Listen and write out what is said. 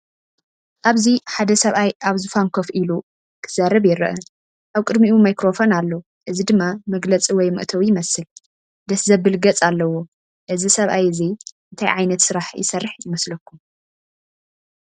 ኣብዚ ሓደ ሰብኣይ ኣብ ዝፋን ኮፍ ኢሉ ክዛረብ ይርአ። ኣብ ቅድሚኡ ማይክሮፎን ኣሎ፡ እዚ ድማ መግለጺ ወይ መእተዊ ይመስል። ደስ ዘብል ገጽ ኣለዎ። እዚ ሰብ እዚ እንታይ ዓይነት ስራሕ ይሰርሕ ይመስለኩም? .